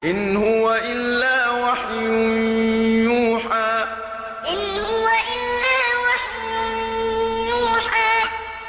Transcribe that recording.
إِنْ هُوَ إِلَّا وَحْيٌ يُوحَىٰ إِنْ هُوَ إِلَّا وَحْيٌ يُوحَىٰ